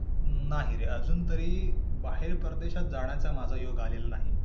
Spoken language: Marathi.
नाही रे. अजून तरी बाहेर परदेशात जाण्याचा माझा योग आलेला नाही.